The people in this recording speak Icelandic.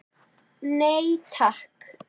Nei takk.